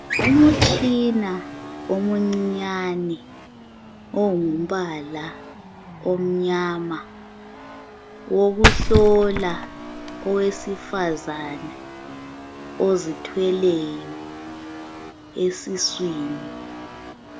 Umutshina omuncinyane ongumbala omnyama, owokuhlola owesifazane ozithweleyo esiswini.